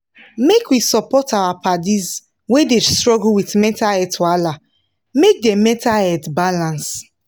make we support our paddis wey dey struggle with mental wahala make dem mental health balance